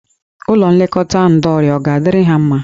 Ụlọ nlekọta ndọ ọrịa ọ ga-adịrị ha mma?